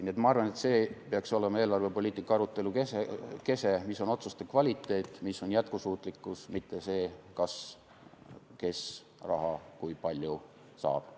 Nii et ma arvan, et eelarvepoliitika arutelu kese peaks olema see, mis on otsuste kvaliteet, mis on jätkusuutlikkus, mitte see, kas ja kes kui palju raha saab.